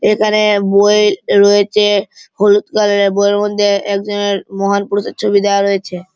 এখানে বই রয়েছে হলুদ কালার -এর বই এর মধ্যে একজনের মহান পুরুষের ছবি দেওয়া রয়েছে।